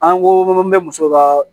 An ko an bɛ musow ka